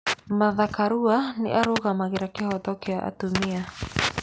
Martha Karua nĩ arũgamagĩrĩra kĩhooto kĩa atumia.